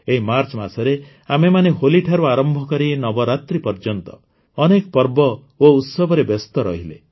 ଏହି ମାର୍ଚ୍ଚ ମାସରେ ଆମେମାନେ ହୋଲିଠାରୁ ଆରମ୍ଭ କରି ନବରାତ୍ରି ପର୍ଯ୍ୟନ୍ତ ଅନେକ ପର୍ବ ଓ ଉତ୍ସବରେ ବ୍ୟସ୍ତ ରହିଲେ